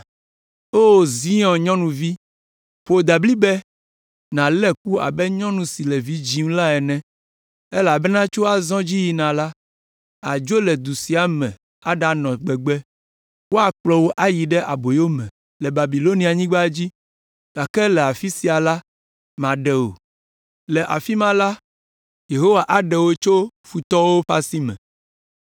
O Zion nyɔnuvi, ƒo dablibɛ, nàlé ku abe nyɔnu si le vi dzim la ene, elabena tso azɔ dzi yina la, àdzo le du sia me aɖanɔ gbegbe, woakplɔ wò ayi ɖe aboyo me le Babilonianyigba dzi, gake le afi sia la, maɖe wò. Le afi ma la, Yehowa aɖe wò tso futɔwo ƒe asi me.